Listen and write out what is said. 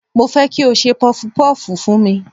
Mo fẹ́ kí o ṣe pọfupọ́fù fún mi.